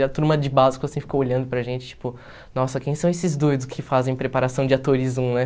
E a turma de básico, assim, ficou olhando para gente, tipo, nossa, quem são esses doidos que fazem preparação de atores um, né?